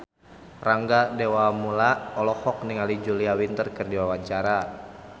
Rangga Dewamoela olohok ningali Julia Winter keur diwawancara